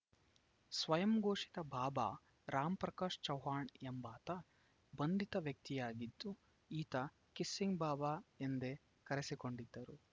ಸ್ವಯಂಘೋಷಿತ ಬಾಬಾ ರಾಮ್‌ ಪ್ರಕಾಶ್‌ ಚೌಹಾಣ್‌ ಎಂಬಾತ ಬಂಧಿತ ವ್ಯಕ್ತಿಯಾಗಿದ್ದು ಈತ ಕಿಸ್ಸಿಂಗ್‌ ಬಾಬಾ ಎಂದೇ ಕರೆಸಿಕೊಂಡಿದ್ದ